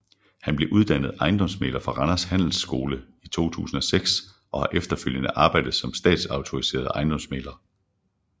Han blev uddannet ejendomsmægler fra Randers Handelsskole i 2006 og har efterfølgende arbejdet som statsautoriseret ejendomsmægler